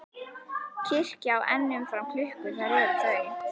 Kirkja á enn um fram klukkur þær er þau